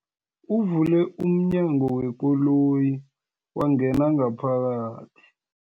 Uvule umnyango wekoloyi wangena ngaphakathi.